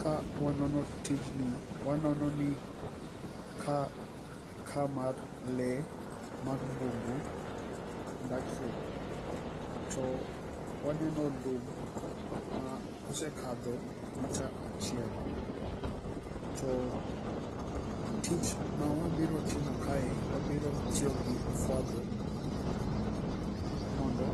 ka wanono tijni wanono ni ka mar le mag mbugu dakie to waneno lum ma osekadho metre achiel to tich mawa biro kae wabiro tiyo gi ofwadho mondo